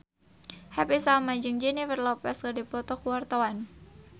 Happy Salma jeung Jennifer Lopez keur dipoto ku wartawan